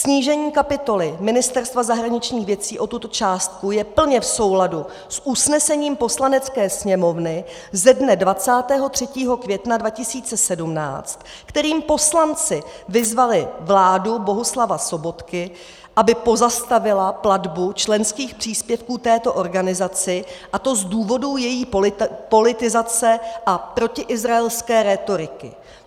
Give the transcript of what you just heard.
Snížení kapitoly Ministerstva zahraničních věcí o tuto částku je plně v souladu s usnesením Poslanecké sněmovny ze dne 23. května 2017, kterým poslanci vyzvali vládu Bohuslava Sobotky, aby pozastavila platbu členských příspěvků této organizaci, a to z důvodu její politizace a protiizraelské rétoriky.